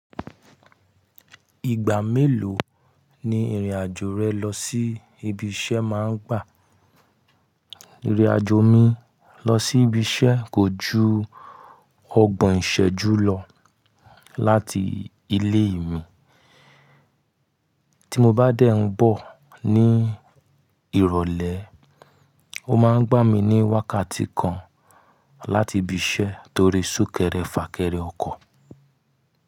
Ìgbà mélòó ni ìrìnàjò rẹ lọ sí ibi iṣẹ́ máa ń gbà? Ìrìnàjò mi lọ sí ibi iṣẹ́ kò ju ọgbọ̀n ìṣẹ́jú lọ láti ilé mi. Tí mo bá dẹ̀ ń bọ̀ ní ìrọ̀lẹ́, ó máa ń gbà mí ní wákàtí kan láti ibi iṣẹ́ torí súnkẹrẹ fà kẹrẹ ọkọ̀.